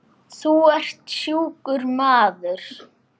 Þú ert sjúkur maður.